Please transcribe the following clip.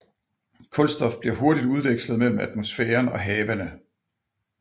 Kulstof bliver hurtigt udvekslet mellem atmosfæren og havene